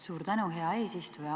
Suur tänu, hea eesistuja!